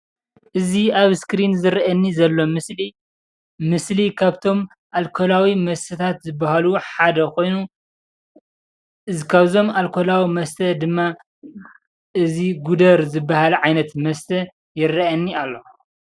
እዚ አብ እስኪሪን ዝረአየኒ ዘሎ ምስሊ ካብቶም አልኮላዊ መስተታትዝባሃሉ ሓደ ኮይኑ ካብዞም አልኮላዊ መስተ ድማ እዚ ጉደር ዝባህል ዓይነት መስተ ይረአየኒ አሎ፡፡